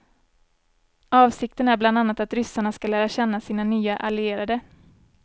Avsikten är bland annat att ryssarna ska lära känna sina nya allierade.